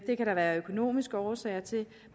det kan der være økonomiske årsager til